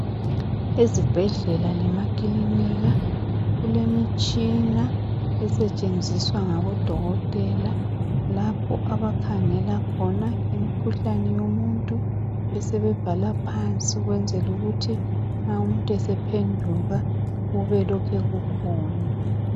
Ezibhedlela lema kilinika kule mitshina esetshenziswa ngabo dokotela lapho abakhangela khona imikhuhlane yomuntu besebe bhala ukwenzela ukuthi nxa umuntu esephenduka kube ku lokhe kukhona.